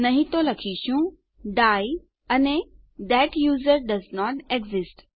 નહી તો આપણે લખીશું ડાઇ અને થત યુઝરનેમ ડોએસન્ટ એક્સિસ્ટ